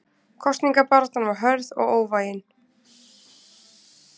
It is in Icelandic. Kosningabaráttan varð hörð og óvægin.